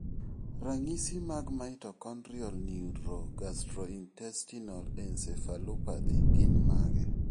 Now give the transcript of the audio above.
Ranyisi mag mitochondrial neurogastrointestinal encephalopathy gin mage?